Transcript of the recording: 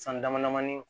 San dama damani